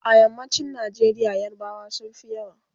a yammacin Nigeria yarbawa sunfi yawa